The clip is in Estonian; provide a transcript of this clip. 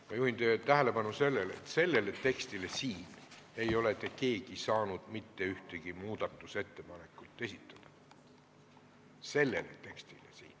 Ma juhin teie tähelepanu sellele, et siinse teksti kohta ei ole te keegi saanud mitte ühtegi muudatusettepanekut esitada – selle teksti kohta siin.